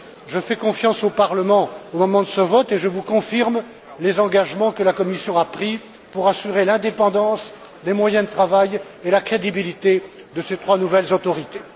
Je fais confiance au Parlement au moment de ce vote et je vous confirme les engagements que la Commission a pris pour assurer l'indépendance, les moyens de travail et la crédibilité de ces trois nouvelles autorités.